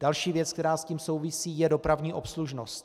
Další věc, která s tím souvisí, je dopravní obslužnost.